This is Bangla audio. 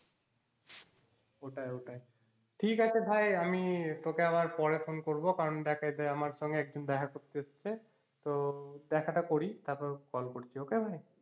ওটাই ওটাই ঠিক আছে ভাই আমি তোকে আবার পরে phone করব কারণ আমার সঙ্গে একজন দেখা করতে এসেছে তো দেখাটা করি তারপরে call করছি okay ভাই